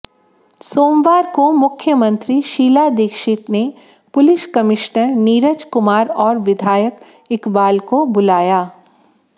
सोमवार को मुख्यमंत्री शीला दीक्षित ने पुलिस कमिश्नर नीरज कुमार और विधायक इकबाल को बुलाया